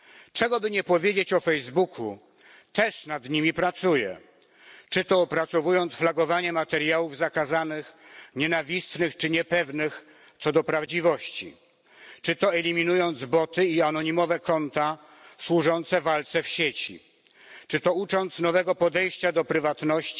Czego by nie powiedzieć o Facebooku, on też nad nimi pracuje czy to opracowując flagowanie materiałów zakazanych, nienawistnych czy niepewnych co do prawdziwości, czy to eliminując boty i anonimowe konta służące walce w sieci, czy to ucząc nowego podejścia do prywatności,